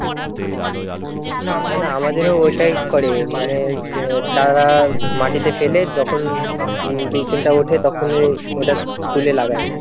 না না আমাদেরও ওটাই করে মানে চারা মাটিতে ফেলে যখন, টা ওঠে তখনই ওটা তুলে লাগায়।